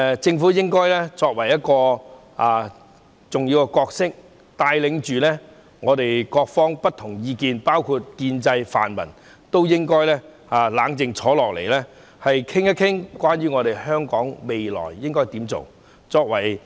政府的重要角色，是帶領不同意見的各方，包括建制和泛民都應該冷靜坐下來，討論香港未來應該怎樣做。